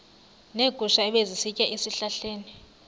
neegusha ebezisitya ezihlahleni